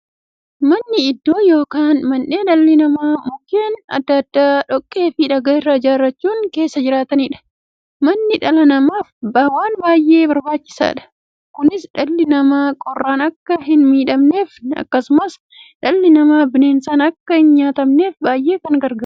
Manni iddoo yookiin mandhee dhalli namaa Mukkeen adda addaa, dhoqqeefi dhagaa irraa ijaarachuun keessa jiraataniidha. Manni dhala namaaf waan baay'ee barbaachisaadha. Kunis, dhalli namaa qorraan akka hinmiidhamneefi akkasumas dhalli namaa bineensaan akka hinnyaatamneef baay'ee isaan gargaara.